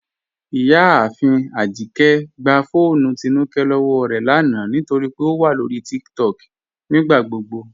Ìyàáfin Ajíkẹ̀ gbà fọ́ọnù Tínúkẹ̀ lọ́wọ́ rẹ lána nítorí pé ó wà lọ́rí TikTok nígbàgbogbo